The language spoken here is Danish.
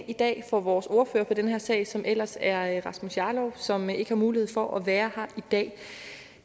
i dag for vores ordfører i den her sag som ellers er rasmus jarlov som ikke har mulighed for at være her i dag